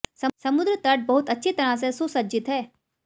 समुद्र तट बहुत अच्छी तरह से सुसज्जित है